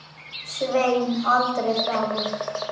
Svein aldrei framar.